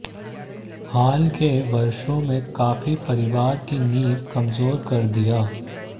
हाल के वर्षों में काफी परिवार की नींव कमजोर कर दिया